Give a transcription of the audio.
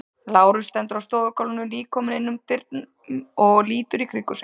Lárus stendur á stofugólfinu, nýkominn inn úr dyrunum og lítur í kringum sig.